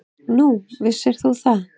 Nú, vissir þú það?